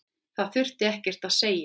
Það þurfti ekkert að segja.